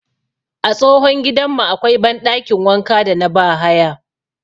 A tsohon gidanmu akwai banɗakin wanka da na bahaya